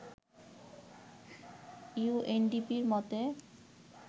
ইউএনডিপির মতে